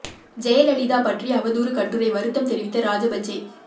ஜெயலலிதா பற்றி அவதூறு கட்டுரை வருத்தம் தெரிவித்த ராஜபக்சே